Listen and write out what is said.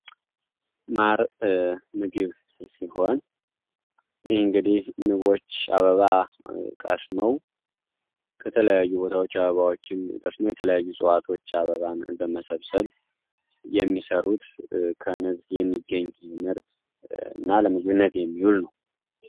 ማር ምግብ ሲሆን ንቦች አበባ ቀስመዉ ከተለያዪ ቦታዎች አበባዎች እዲሁም የእፅዋቶችን አበባ በመሰብሰብ የሚሰሩት ከንብ የሚገኝ ምርት እና ለምግብነት የሚውል ነው።